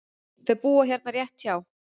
Þau búa hérna rétt hjá.